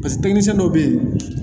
paseke teminsɛn dɔw be yen